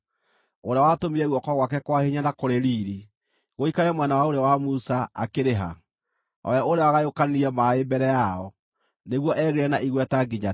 Ũrĩa watũmire guoko gwake kwa hinya na kũrĩ riiri gũikare mwena wa ũrĩo wa Musa, akĩrĩ ha? O we ũrĩa wagayũkanirie maaĩ mbere yao, nĩguo egĩĩre na igweta nginya tene,